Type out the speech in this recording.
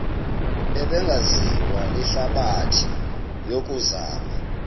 ebingaziwa lihlabathi yokuzama